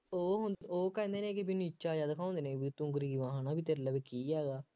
ਉਹ ਹੁਣ ਉਹ ਕਹਿੰਦੇ ਨੇ ਕਿ ਬਈ ਨੀਚਾ ਜਿਹਾ ਦਿਖਾਉਂਦੇ ਨੇ ਬਈ ਤੂੰ ਗਰੀਬ ਹੈ, ਹੈ ਨਾ, ਬਈ ਤੇਰੇ ਲਵੇ ਕੀ ਹੈਗਾ,